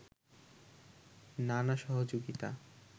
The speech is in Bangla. নানা সহযোগিতা